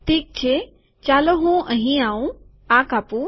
ઠીક છે ચાલો હું અહીં આઉં આ કાપું